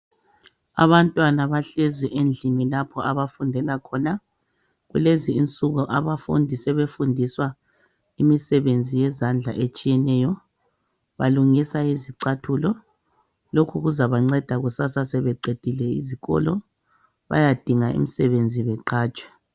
Abantwana bahlezi endlini lapho abafundela khona. Kulezi insuku abafundi sebefundiswa imisebenzi yezandla etshiyeneyo balungisa izicathulo. Lokhu kuzabanceda kusasa sebeqedile izikolo. Bayadinga umsebenzi beqatshwe